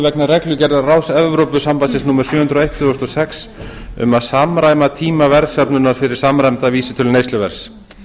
vegna reglugerðar ráðs evrópusambandsins númer sjö hundruð og eitt tvö þúsund og sex um að samræma tíma verðsöfnunar fyrir samræmda vísitölu neysluverðs